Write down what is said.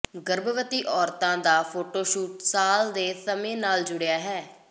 ਗਰਭਵਤੀ ਔਰਤਾਂ ਦਾ ਫੋਟੋਸ਼ੂਟ ਸਾਲ ਦੇ ਸਮੇਂ ਨਾਲ ਜੁੜਿਆ ਹੋਇਆ ਹੈ